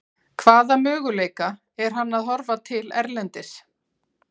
Hvaða möguleika er hann að horfa til erlendis?